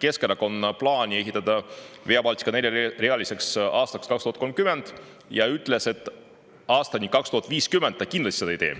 Keskerakonna plaani ehitada Via Baltica aastaks 2030 neljarealiseks ja on öelnud, et aastani 2050 ta kindlasti seda ei tee.